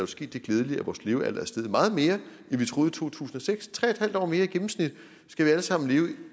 sket det glædelige at vores levealder er steget meget mere end vi troede to tusind og seks tre en halv år mere i gennemsnit skal vi alle sammen blive